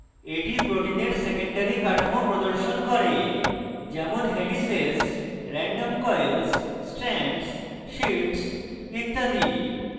এটি protein secondary কাঠামো প্রদর্শন করে যেমন helices random coils strands sheets ইত্যাদি